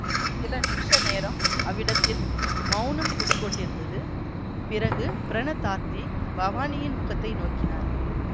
சில நிமிஷ நேரம் அவ்விடத்தில் மௌனம் குடிகொண்டிருந்தது பிறகு பிரணதார்த்தி பவானியின் முகத்தை நோக்கினார்